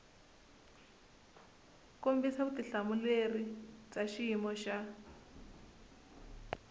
kombisa vutitumbuluxeri bya xiyimo xa